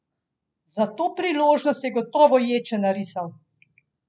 Za to priložnost je gotovo jed še narisal!